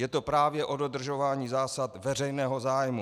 Je to právě o dodržování zásad veřejného zájmu.